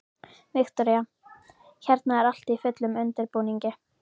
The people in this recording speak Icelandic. Viktoría: Hérna er allt í fullum undirbúningi?